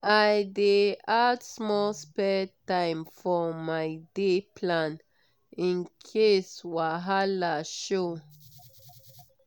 i dey add small spare time for my day plan in case wahala show.